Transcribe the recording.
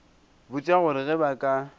botša gore ge ba ka